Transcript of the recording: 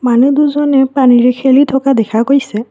মানুহ দুজনে পানীৰে খেলি থকা দেখা গৈছে।